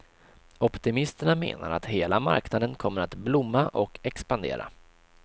Optimisterna menar att hela marknaden kommer att blomma och expandera.